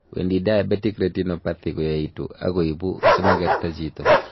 wendi diabetic retinopathy koyaitu and koibu simagerta chito